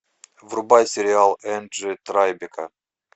врубай сериал энджи трайбека